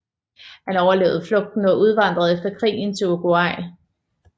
Han overlevede flugten og udvandrede efter krigen til Uruguay